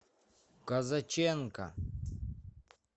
козаченко